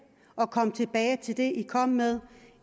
og kom tilbage til det i kom med